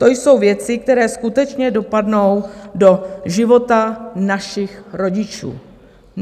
To jsou věci, které skutečně dopadnou do života našich rodičů.